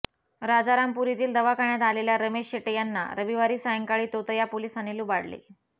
राजारामपुरीतील दवाखान्यात आलेल्या रमेश शेटे यांना रविवारी सायंकाळी तोतया पोलिसाने लुबाडले